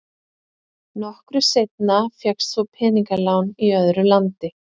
Nokkru seinna fékkst svo peningalán í öðru landi.